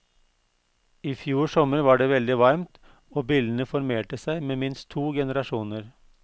I fjor sommer var det veldig varmt, og billene formerte seg med minst to generasjoner.